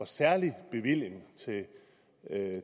særlig bevilling